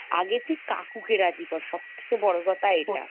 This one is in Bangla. আগে তুই কাকু কে রাজি কর সব থেকে বড় কথা এটা ।